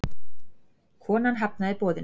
Konan hafnaði boðinu.